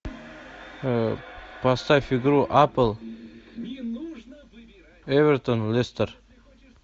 поставь игру апл эвертон лестер